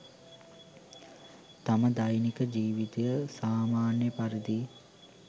තම දෛනික ජීවිතය සාමාන්‍ය පරිදි